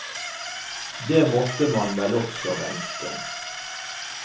Det måtte man vel også vente.